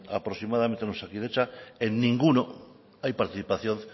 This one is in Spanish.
aproximadamente en osakidetza en ninguno hay participación